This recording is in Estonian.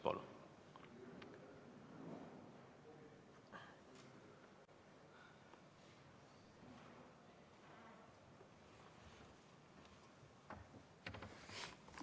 Palun!